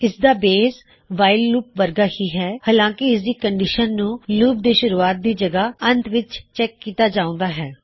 ਇਸਦਾ base while loop ਵਰਗਾ ਹੀ ਹੈ ਹਾਲਾਂਕੀ ਇਸਦੀ ਕੰਨਡਿਸ਼ਨ ਨੂੰ ਲੂਪ ਦੇ ਸ਼ੁਰੂਵਾਤ ਦੀ ਜਗਹ ਅੰਤ ਵਿੱਚ ਚੈੱਕ ਕੀਤਾ ਜਾਉਂਦਾ ਹੈ